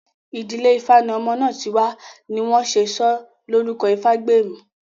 Ìdílé ifá ní ọmọ náà ti wá ni wọ́n ṣe sọ́ Lórúkọ ìfágbèmí